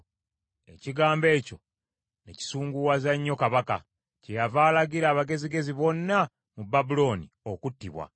Ekigambo ekyo ne kisunguwaza nnyo kabaka, kyeyava alagira abagezigezi bonna mu Babulooni okuttibwa.